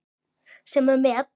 Sem er met.